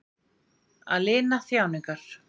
Að lina þjáningar.